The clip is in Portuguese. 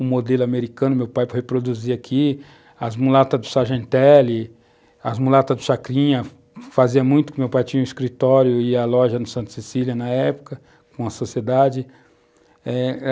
um modelo americano, meu pai reproduzia aqui, as mulatas do Sargentelli, as mulatas do Chacrinha, fazia muito, meu pai tinha um escritório e a loja no Santo Cecília, na época, com a sociedade.